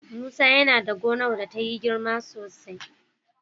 Musa yana da gonar da ta yi girma sosai.